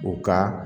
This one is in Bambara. U ka